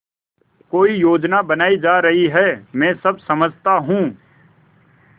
कोई योजना बनाई जा रही है मैं सब समझता हूँ